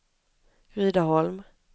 Rydaholm